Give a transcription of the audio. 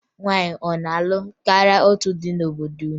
Nwaanyị a na-alụ karịa otu di n'obodo unu?